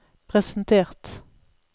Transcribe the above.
presentert